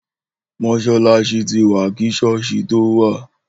Mòsàlàsì ti wà ki sọ̀ọsi tò wà